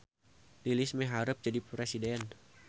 Lilis miharep jadi presiden